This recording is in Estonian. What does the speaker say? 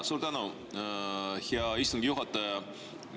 Suur tänu, hea istungi juhataja!